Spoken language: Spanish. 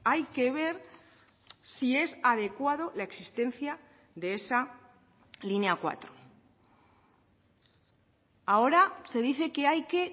hay que ver si es adecuado la existencia de esa línea cuatro ahora se dice que hay que